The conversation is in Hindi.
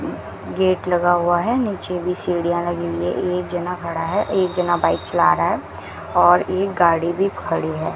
गेट लगा हुआ है नीचे भी सीढ़ियां हुई है एक जना खड़ा है एक जना बाइक चला रहा है और एक गाड़ी भी खड़ी है।